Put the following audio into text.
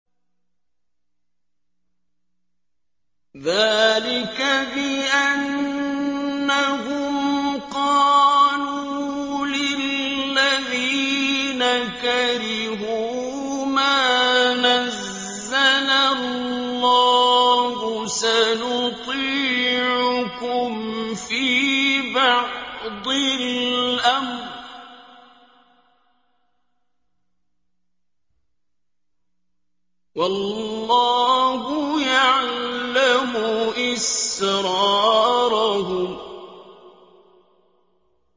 ذَٰلِكَ بِأَنَّهُمْ قَالُوا لِلَّذِينَ كَرِهُوا مَا نَزَّلَ اللَّهُ سَنُطِيعُكُمْ فِي بَعْضِ الْأَمْرِ ۖ وَاللَّهُ يَعْلَمُ إِسْرَارَهُمْ